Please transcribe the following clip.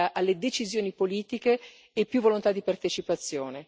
alle decisioni politiche e più volontà di partecipazione.